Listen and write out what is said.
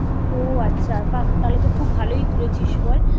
ও আচ্ছা বাহ্ তাহলে তো খুব ভালোই ঘুরেছিস বল?